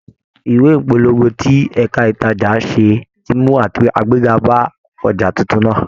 Ìwé ìpolongo tí ẹ̀ka ìtajà ṣe ti mú àgbéga bá ọjà titun náà.